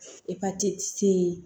Epatiti se